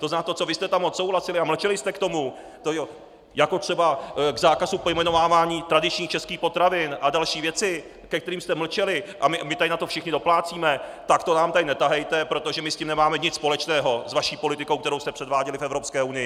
To znamená to, co vy jste tam odsouhlasili a mlčeli jste k tomu, jako třeba k zákazu pojmenovávání tradičních českých potravin a další věci, ke kterým jste mlčeli, a my tady na to všichni doplácíme, tak to nám tady netahejte, protože my s tím nemáme nic společného, s vaší politikou, kterou jste předváděli v Evropské unii!